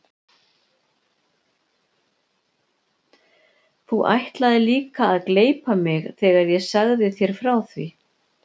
Þú ætlaðir líka að gleypa mig þegar ég sagði þér frá því.